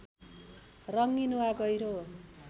रङ्गीन वा गहिरो